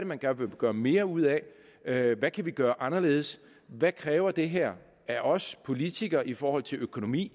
man gerne vil gøre mere ud af af hvad kan vi gøre anderledes hvad kræver det her af os politikere i forhold til økonomi